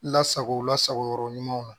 Lasago lasagoyɔrɔ ɲumanw na